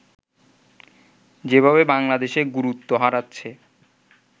যেভাবে বাংলাদেশে গুরুত্ব হারাচ্ছে